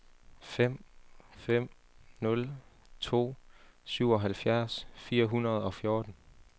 fem fem nul to syvoghalvfjerds fire hundrede og fjorten